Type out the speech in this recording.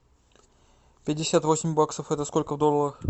пятьдесят восемь баксов это сколько в долларах